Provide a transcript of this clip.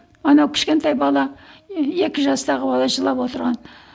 анау кішкентай бала екі жастағы бала жылап отырған